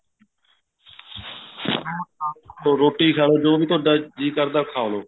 salad ਖਾਲੋ ਰੋਟੀ ਖਾਲੋ ਜੋ ਵੀ ਤੁਹਾਡਾ ਜੀਅ ਕਰਦਾ ਉਹ ਖਾਲੋ